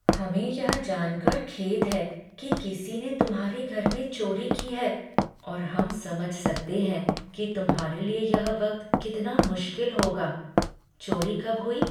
हमें यह जानकर खेद है कि किसी ने तुम्हारे घर में चोरी की है और हम समझ सकते हैं कि तुम्हारे लिए यह वक्त कितना मुश्किल होगा। चोरी कब हुई?